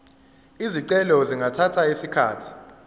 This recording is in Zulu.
izicelo zingathatha isikhathi